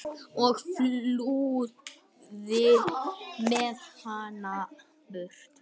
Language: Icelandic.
og flúði með hana burt.